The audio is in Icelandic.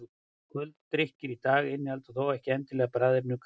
kóladrykkir í dag innihalda þó ekki endilega bragðefni úr kólahnetu